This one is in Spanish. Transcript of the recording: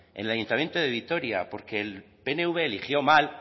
en el ayuntamiento de vitoria porque el pnv eligió mal